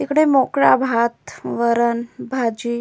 इकडे मोकळा भात वरण भाजी--